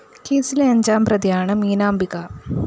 കേസിലെ അഞ്ചാം പ്രതിയാണ്‌ മീനാംബിക